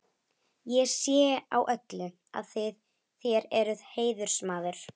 Ég sé á öllu, að þér eruð heiðursmaður.